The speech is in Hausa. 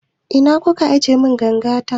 Ina kuka ajiye mun ganga ta?